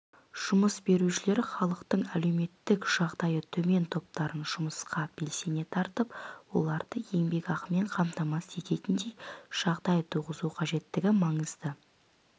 жұмыс берушілер халықтың әлеуметтік жағдайы төмен топтарын жұмысқа белсене тартып оларды еңбекақымен қамтамасыз ететіндей жағдай туғызу қажеттігі маңызды